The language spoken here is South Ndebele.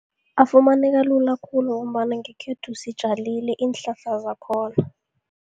Afumaneka lula khulu, ngombana ngekhethu sitjalile iinhlahla zakhona.